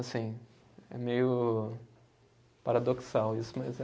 Assim, é meio paradoxal isso, mas é